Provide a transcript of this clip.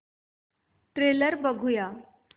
trailer बघूया